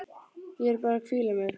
Ég er bara að hvíla mig.